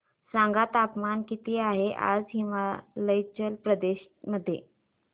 सांगा तापमान किती आहे आज हिमाचल प्रदेश मध्ये